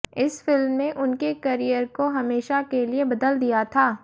इस फिल्म ने उनके करियर को हमेशा के लिए बदल दिया था